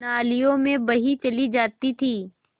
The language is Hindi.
नालियों में बही चली जाती थी